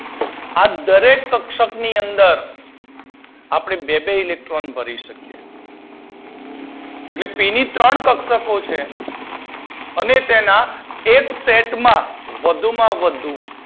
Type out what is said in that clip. આ દરેક કક્ષક ની અંદર આપડે બે બે ઈલેકટ્રોન ભરીશું એટલે પી ની ત્રણ કક્ષકો છે અને તેના એક સેટમાં વધુમાં વધુ